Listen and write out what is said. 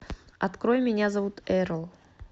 открой меня зовут эрл